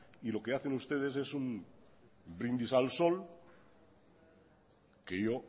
y lo que hacen ustedes es un brindis al sol que